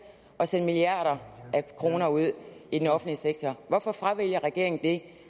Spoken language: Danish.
at sende milliarder af kroner ud i den offentlige sektor hvorfor fravælger regeringen det